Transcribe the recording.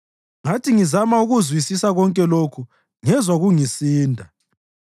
Ngathi ngizama ukukuzwisisa konke lokhu ngezwa kungisinda,